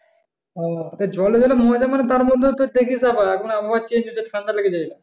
ও তা জলে যেরকম মজা মানে তারমধ্যে থেকে তো আবার এখন আবহাওয়া change হচ্ছে ঠান্ডা লেগে যাবে।